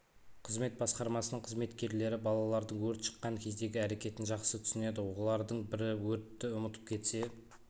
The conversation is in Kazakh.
қызмет басқармасының қызметкерлері балалардың өрт шыққан кездегі әрекетін жақсы түсінеді олардың бірі өртті ұмытып кетсе